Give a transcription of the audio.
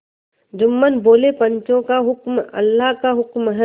जुम्मन बोलेपंचों का हुक्म अल्लाह का हुक्म है